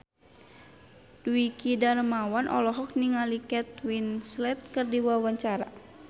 Dwiki Darmawan olohok ningali Kate Winslet keur diwawancara